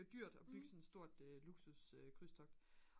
det er dyrt at bygge sådan et stort luksus krydstogt